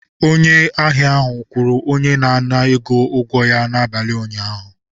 Onye ahịa ahụ kwụrụ onye na-ana ego ụgwọ ya n'abalị ụnyaahụ.